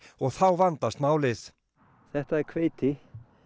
og þá vandast málið þetta er hveiti